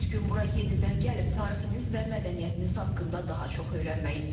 Bir gün bura yenidən gəlib tarixiniz və mədəniyyətiniz haqqında daha çox öyrənmək istərdim.